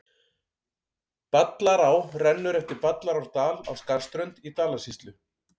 Ballará rennur eftir Ballarárdal á Skarðsströnd í Dalasýslu.